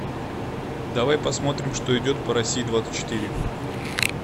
давай посмотрим что идет по россии двадцать четыре